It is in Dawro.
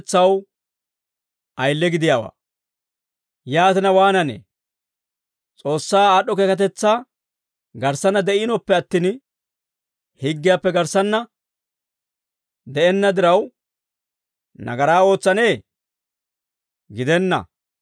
Yaatina, waananee? S'oossaa aad'd'o keekatetsaa garssanna de'iinoppe attin, higgiyaappe garssanna de'enna diraw, nagaraa ootsanee? Gidenna;